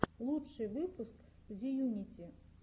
лучший выпуск зеюнити